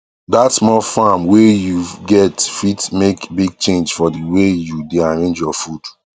that small farm wae you get fit make big change for the way you dae arrange your food